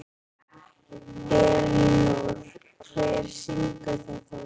Elínór, hver syngur þetta lag?